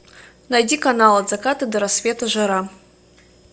найди канал от заката до рассвета жара